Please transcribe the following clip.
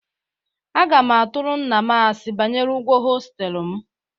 Aga m atụrụ nna m asị banyere ụgwọ hostelụ m.